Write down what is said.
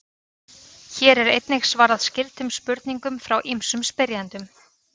Hér er einnig svarað skyldum spurningum frá ýmsum spyrjendum.